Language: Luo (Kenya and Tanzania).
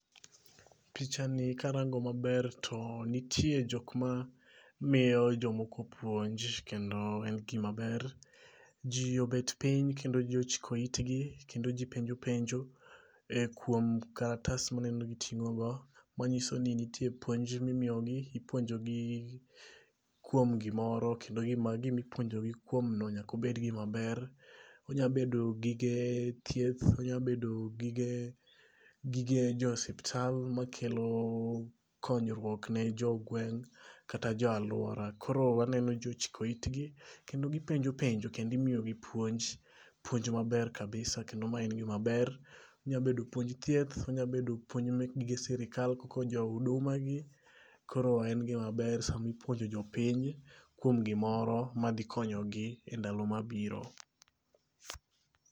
Picha ni karango maber to nitie jok ma miyo jomoko puonj. Kendo en gima ber. Ji obet piny kendo ji ochiko itgi kendo ji penjo penjo e kuom karatas mineno giting'o go. Manyiso ni nitie puonj mimiyo gi. Ipuonjo gi kuom gimoro. Kendo gimipuonjo gi kuom no nyakobed gima ber. Onyabedo gige thieth. Onya bedo gige jo osiptal makelo konyruok ne jo gweng' kata jo aluora. Koro waneno ji ochiko itgi kendo gipenjo penjo kendo imiyo gi puonj. Puonj maber kabisa. Kendo ma en gima maber. Onya bedo puonj thieth. Onyabedo puonj mek gige sirkal koko jo huduma gi. Koro en gima ber sami puonjo jopiny kuom gimoro madhi konyo gi e ndalo mabiro.